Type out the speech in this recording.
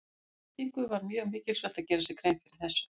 Við nýtingu var mjög mikilsvert að gera sér grein fyrir þessu.